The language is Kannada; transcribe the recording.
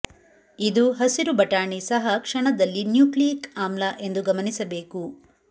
ಇದು ಹಸಿರು ಬಟಾಣಿ ಸಹ ಕ್ಷಣದಲ್ಲಿ ನ್ಯೂಕ್ಲಿಯಿಕ್ ಆಮ್ಲ ಎಂದು ಗಮನಿಸಬೇಕು